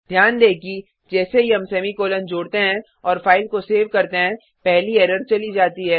ध्यान दें कि जैसे ही हम सेमीकॉलन जोडते हैं और फाइल को सेव करते हैं पहली एरर चली जाती है